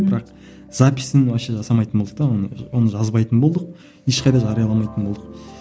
бірақ записін вообще жасамайтын болдық та оны оны жазбайтын болдық ешқайда жарияламайтын болдық